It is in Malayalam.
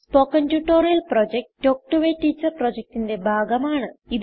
spoken tutorial project talk to a teacher പ്രൊജക്റ്റ്ന്റെ ഭാഗമാണ്